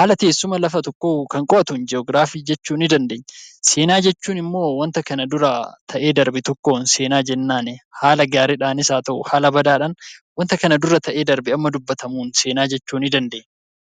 haala teessuma tokkoo kan qo'atuun 'Ji'ograafii' jechuu nii dandeenya. Seenaa jeechuun immoo wanta kana dura ta'ee darbe tokkoon 'Seenaa' jennaani. Haala gaariidhaanis haa ta'u haala badaadhaan wanta kana dura ta'ee darbe amma dubbatamuun 'Seenaa' jechuu nii dandeenya.